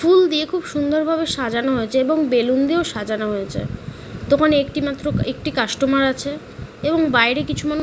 ফুল দিয়ে খুব সুন্দর ভাবে সাজান হয়েছে এবং বেলুন দিয়েও সাজানো হয়েছে দোকানে একটি মাত্র একটি কাস্টমার আছে এবং বাইরে কিছু মানুষ ।